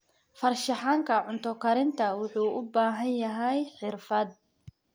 Farshaxanka cunto karinta wuxuu u baahan yahay xirfad.